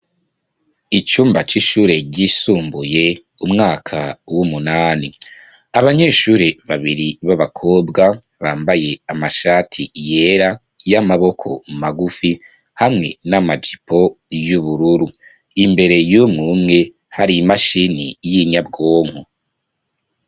Icumba c'ishure ryisumbuye, umwaka w'umunani, abanyeshure babiri b'abakobwa, bambaye amashati yera, y'amaboko magufi, hamwe n'amajipo y'ubururu; imbere y'umwe umwe, hari imashini y'inyabwonko.